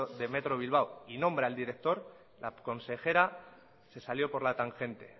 de metro bilbao y nombra al director la consejera se salió por la tangente